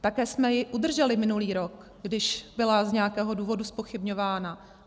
Také jsme ji udrželi minulý rok, když byla z nějakého důvodu zpochybňována.